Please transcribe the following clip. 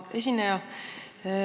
Hea esineja!